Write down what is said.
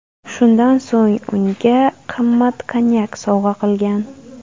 Shundan so‘ng unga qimmat konyak sovg‘a qilgan.